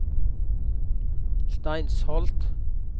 Steinsholt